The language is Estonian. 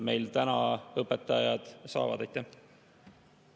Miks te ei võta nende andmeid omale aluseks, et seda maksuküüru mitte teha, see edasi lükata?